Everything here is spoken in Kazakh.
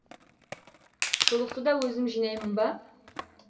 шұлықты да өзім жинаймын ба